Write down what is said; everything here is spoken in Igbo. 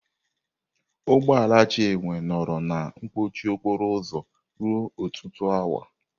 Ụgbọ ala Chinwe nọrọ na mkpọchị okporo ụzọ ruo ọtụtụ awa.